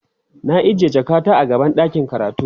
na ajiye jakata a gaban ɗakin karatu